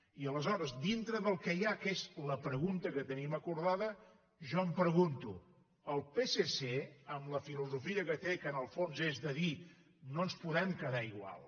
i aleshores dintre del que hi ha que és la pregunta que tenim acordada jo em pregunto el psc amb la filosofia que té que en el fons és de dir no ens podem quedar igual